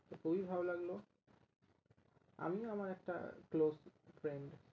খুবি ভালো লাগলো আমি আর আমার একটা close friend